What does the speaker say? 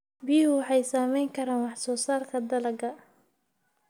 Biyuhu waxay saamayn karaan wax soo saarka dalagga.